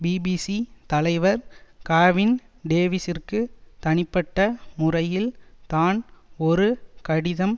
BBC தலைவர் Gavin டேவிசிற்கு தனிப்பட்ட முறையில் தான் ஒரு கடிதம்